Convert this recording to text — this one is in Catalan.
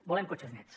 volem cotxes nets